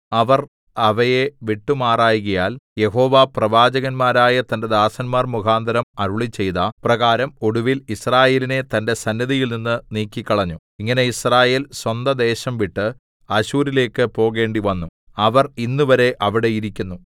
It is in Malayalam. അവർ അവയെ വിട്ടുമാറായ്കയാൽ യഹോവ പ്രവാചകന്മാരായ തന്റെ ദാസന്മാർ മുഖാന്തരം അരുളിച്ചെയ്ത പ്രകാരം ഒടുവിൽ യിസ്രായേലിനെ തന്റെ സന്നിധിയിൽനിന്ന് നീക്കിക്കളഞ്ഞു ഇങ്ങനെ യിസ്രായേൽ സ്വന്ത ദേശംവിട്ട് അശ്ശൂരിലേക്ക് പോകേണ്ടിവന്നു അവർ ഇന്നുവരെ അവിടെ ഇരിക്കുന്നു